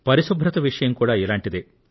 పరిశుభ్రత విషయం కూడా ఇలాంటిదే